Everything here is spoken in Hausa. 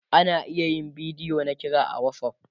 ana iya yin bidiyo na kira a WhatsApp